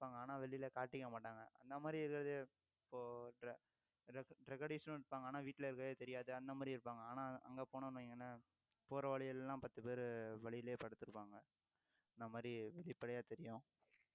இருப்பாங்க ஆனா வெளியிலே காட்டிக்க மாட்டாங்க அந்த மாதிரி ஏதாவது இப்போ drug addicts னும் இருப்பாங்க ஆனா வீட்டிலே இருக்கிறது தெரியாது அந்த மாதிரி இருப்பாங்க ஆனா அங்கே போனோம்னு வைங்களேன் போற வழியில எல்லாம் பத்து பேரு வழியிலேயே படுத்திருப்பாங்க இந்த மாதிரி வெளிப்படையா தெரியும்